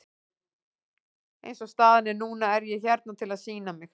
Eins og staðan er núna er ég hérna til að sýna mig.